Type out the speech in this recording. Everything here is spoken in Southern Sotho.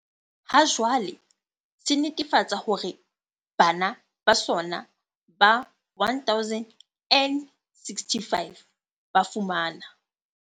Hajwale, se netefatsa hore bana ba sona ba 1 065 ba fumana.